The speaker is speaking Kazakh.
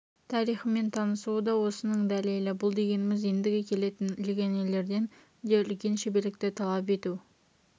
тарихымен танысуы да осының дәлелі бұл дегеніміз енді келетін легионерлерден де үлкен шеберлікті талап ету